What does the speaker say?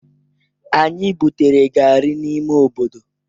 Anyị butere gari n'ime obodo.